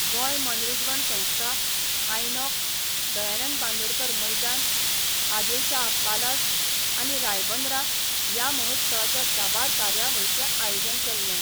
गोंय मनरीजवण संस्था, आयनॉक्स, दयानंद बांदोडकर मैदान, आदिल शाह पालास आनी रायबंदरा या महोत्सवाच्या साबार कार्यावळींचे आयोजन केल्ले.